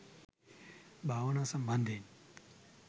භාවනා සම්බන්ධයෙන්